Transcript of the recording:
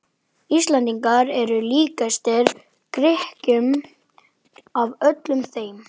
Íslendingar eru líkastir Grikkjum af öllum þeim